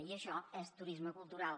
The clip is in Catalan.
i això és turisme cultural